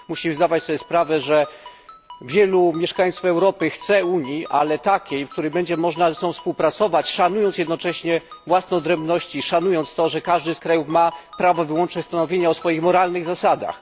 Musimy zdawać sobie sprawę, że wielu mieszkańców Europy chce Unii, ale takiej, w której będzie można ze sobą współpracować, szanując jednocześnie własne odrębności, szanując to, że każdy z krajów ma wyłączne prawo stanowienia o swoich moralnych zasadach.